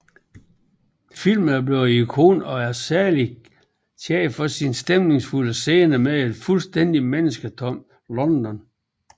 Filmen er blevet et ikon og er særligt kendt for sine stemningsfulde scener med et fuldstændigt mennesketomt London